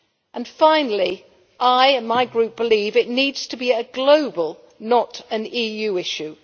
And finally, I and my group believe it needs to be a global, not an EU, issue.